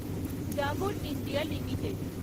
Dabur India limited